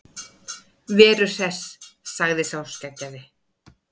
Veru Hress, sagði sá skeggjaði.